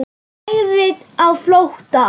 Hann lagði á flótta.